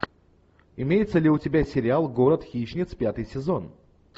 имеется ли у тебя сериал город хищниц пятый сезон